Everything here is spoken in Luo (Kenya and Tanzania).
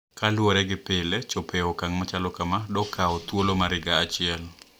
Kaluwore gi pile chopo e okang` machalo kama dokawo thuolo mar higa achiel